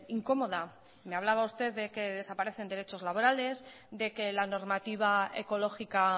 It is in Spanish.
incomoda me hablaba usted de que desaparecen derechos laborales de que la normativa ecológica